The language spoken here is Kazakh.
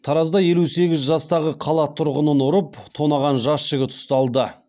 таразда елу сегіз жастағы қала тұрғынын ұрып тонаған жас жігіт ұсталды